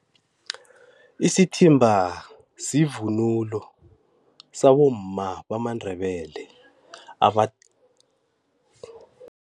Isithimba sivunulo sabomma bamaNdebele aba